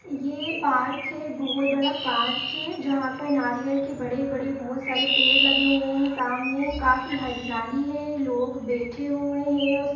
ये पार्क है बहोत बड़ा पार्क है जहां पर नारियल के बड़े-बड़े बहोत सारे पेड़ लगे हुए हैं सामाने काफी हरियाली है लोग बैठें हुए हैं उस --